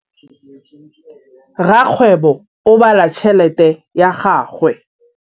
Rakgwêbô o bala tšheletê ya gagwe.